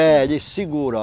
É, ele segura.